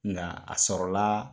Nka a sɔrɔla